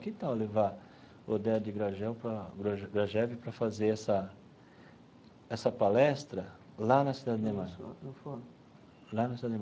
Que tal levar o Oded Grajel para gra Grajew para fazer essa essa palestra lá na Cidade Ademar? Lá na cidade Ademar.